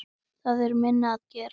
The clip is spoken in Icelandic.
Það er minna að gera.